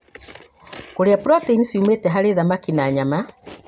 Kũrĩa proteini ciumĩte harĩ thamaki na nyama.